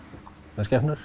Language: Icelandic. með skepnur